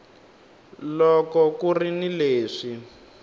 loko ku ri ni leswi